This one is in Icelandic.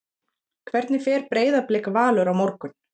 Hvernig fer Breiðablik-Valur á morgun?